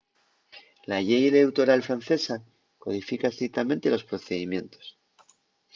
la llei eleutoral francesa codifica estrictamente los procedimientos